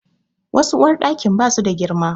Wasu uwarɗakin ba su da girma.